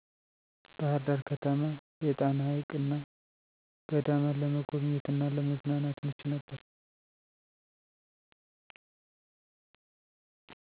ባህርዳር ከተማ የጣና ሀይቅና ገዳማት ለመጎብኘት እና ለመዝናናት ምቹ ነበር